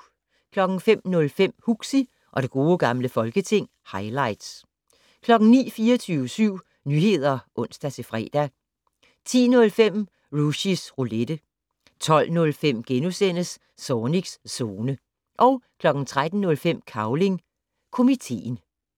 05:05: Huxi og det gode gamle folketing - highlights 09:00: 24syv Nyheder (ons-fre) 10:05: Rushys Roulette 12:05: Zornigs Zone * 13:05: Cavling Komiteen